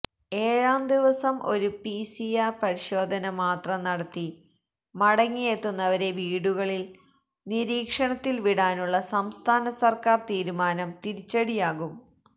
ഏഴാം ദിവസം ഒരു പിസിആര് പരിശോധന മാത്രം നടത്തി മടങ്ങിയെത്തുന്നവരെ വീടുകളില് നിരീക്ഷണത്തില് വിടാനുള്ള സംസ്ഥാന സര്ക്കാര് തീരുമാനം തിരിച്ചടിയാകും